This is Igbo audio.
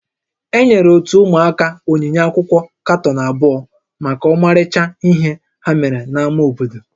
Enyere ótú ụmụaka onyinye akwụkwọ katọn abụọ maka ọmarịcha ihe ha mere n'ámá obodo